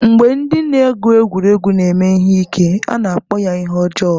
Mgbe ndị na-egwu egwuregwu na-eme ihe ike, a na-akpọ ya ihe ọjọọ.